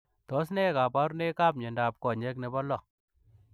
Tos ne kabarunoik ap miondoop konyeek nepoo loo?